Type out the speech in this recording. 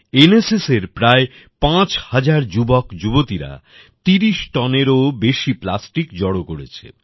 NSS এর প্রায় ৫০০০ যুবকযুবতীরা ৩০ tonএর ও বেশি প্লাস্টিক জড়ো করেছে